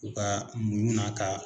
U ka muɲu n'a ka